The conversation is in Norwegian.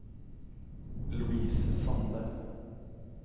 Louise Sandberg